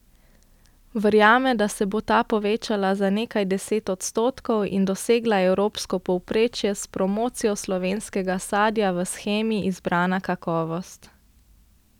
Verjame, da se bo ta povečala za nekaj deset odstotkov in dosegla evropsko povprečje s promocijo slovenskega sadja v shemi Izbrana kakovost.